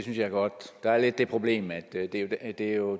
jeg er godt der er lidt det problem at at det jo